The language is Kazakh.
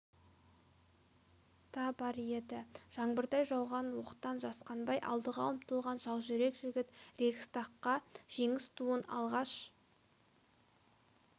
та бар еді жаңбырдай жауған оқтан жасқанбай алдыға ұмтылған жаужүрек жігіт рейхстагқа жеңіс туын алғаш